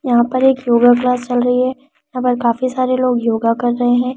यहां पर एक योगा क्लास चल रही है यहां पर काफी सारे लोग योगा कर रहे हैं यहां पर।